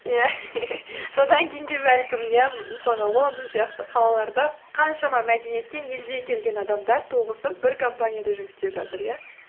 содан кейін де бәлкім иә мысалға лондон сияқты қалаларда қаншама мәдениеттен елден келген адамдар тоғысып бір компанияда жұмыс істеп жатыр иә